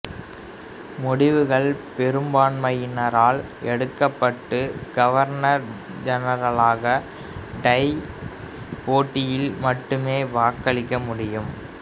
முடிவுகள் பெரும்பான்மையினரால் எடுக்கப்பட்டு கவர்னர் ஜெனரலாக டை போட்டியில் மட்டுமே வாக்களிக்க முடியும்